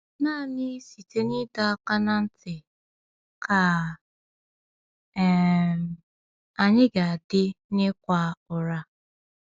Naanị site n’ịdọ aka ná ntị ka um anyị ga-adị n’ịkwa ụra.